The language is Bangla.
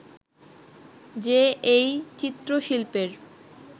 যে এই চিত্রশিল্পের